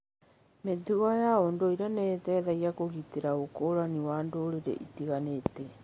Mĩtugo ya ũndũire nĩ ĩteithagia kũgitĩra ũkũrani wa ndũrĩrĩ itiganĩte.